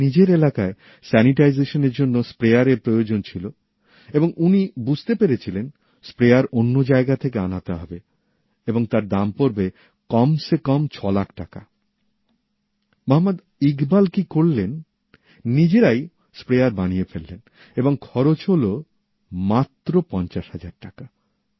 ওঁর নিজের এলাকায় জীবাণুমুক্ত করার জন্য স্প্রেয়ারের প্রয়োজন ছিলো এবং উনি বুঝতে পেরেছিলেন স্প্রেয়ার অন্য জায়গা থেকে আনাতে হবে এবং তার দাম পড়বে কমসে কম ছ লাখ টাকা মোহাম্মদ ইকবাল কি করলেন౼ নিজেরাই স্প্রেয়ার বানিয়ে ফেললেন এবং খরচ হলো মাত্র ৫০০০০ টাকা